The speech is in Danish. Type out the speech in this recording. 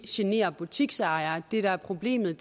generer butiksejere det der er problemet